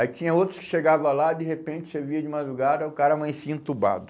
Aí tinha outros que chegavam lá, de repente você via de madrugada o cara amanhecia entubado.